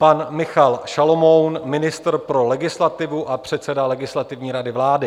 Pan Michal Šalomoun, ministr pro legislativu a předseda Legislativní rady vlády.